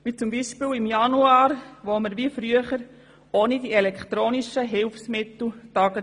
wie beispielsweise im Januar dieses Jahres, als wir – wie früher – ohne elektronische Hilfsmittel getagt haben.